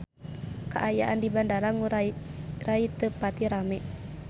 Kaayaan di Bandara Ngurai Rai teu pati rame